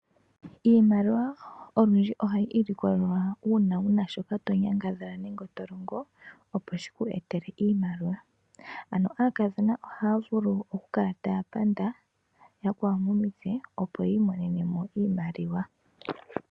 Iimaliwa olundji ohayi ilikolelwa uuna wuna shoka to nyangadhala nenge tolongo opo shi ku etele iimaliwa. Ano aakadhona ohaya vulu oku kala taya panda yakwawo momitse opo yi imonene mo iimaliwa.